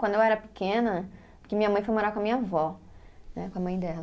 Quando eu era pequena, porque minha mãe foi morar com a minha avó né, com a mãe dela.